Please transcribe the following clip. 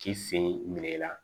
K'i sen minɛ i la